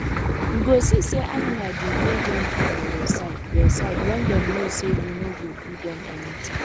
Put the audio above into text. you go see say animal dey dey gentle for your side your side wen dem no know say you no go do dem anything